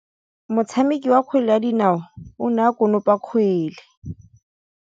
Motshameki wa kgwele ya dinaô o ne a konopa kgwele.